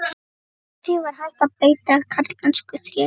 Gegn því var hægt að beita karlmennsku og þreki.